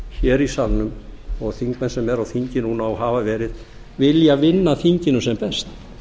hér í salnum og þingmenn sem eru á þingi núna og hafa verið vilja vinna þinginu sem best